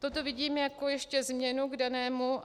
Toto vidím ještě jako změnu k danému.